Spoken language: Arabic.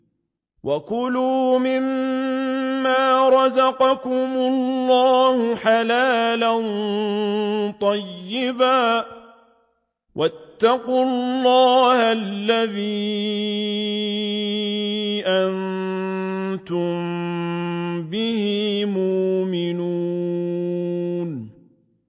وَكُلُوا مِمَّا رَزَقَكُمُ اللَّهُ حَلَالًا طَيِّبًا ۚ وَاتَّقُوا اللَّهَ الَّذِي أَنتُم بِهِ مُؤْمِنُونَ